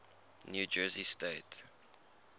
new jersey state